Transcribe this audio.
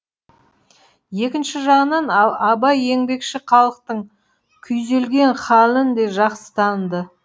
екінші жағынан абай еңбекші халықтың күйзелген халін де жақсы таныды